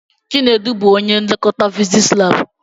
Chinedu bụ ónyé nlekọta fiziks lab.